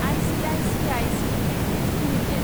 ICICI securities limited